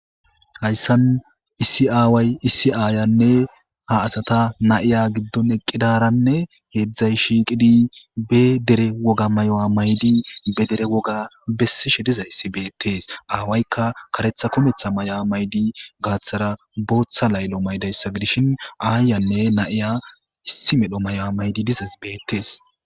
hayssan issi aaway issi aayanne ha asata nayiya giddon eqqidaranne heedzdzay shiiqidi be dere woga mayo7a maydi be dere woga bessishe dizayssi beettees aawaykka karetha kometha may7a maydi gaaththara booththa laylo maydayssa gidishin aayanne nayiya issi medho mayo7a maydi dizaz beettees